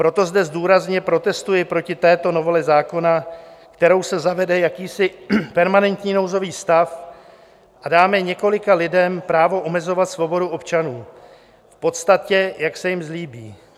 Proto zde důrazně protestuji proti této novele zákona, kterou se zavede jakýsi permanentní nouzový stav a dáme několika lidem právo omezovat svobodu občanů, v podstatě jak se jím zlíbí.